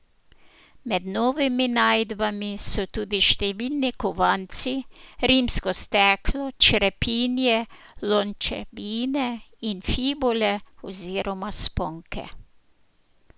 Med novimi najdbami so tudi številni kovanci, rimsko steklo, črepinje lončevine in fibule oziroma sponke.